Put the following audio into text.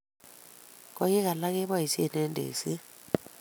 Koik alak keboishie eng tekset